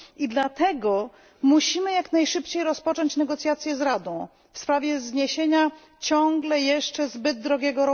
I dlatego musimy jak najszybciej rozpocząć negocjacje z Radą w sprawie zniesienia ciągle jeszcze zbyt drogiego